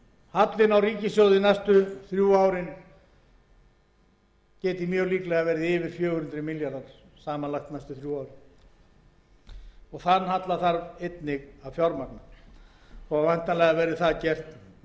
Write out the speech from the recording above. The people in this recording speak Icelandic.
hallinn á ríkissjóði næstu þrjú árin geti orðið yfir fjögur hundruð milljarðar samanlagður og þann halla þarf einnig að fjármagna og væntanlega verður það gert með innlendri lántöku útgáfu ríkisskuldabréfa það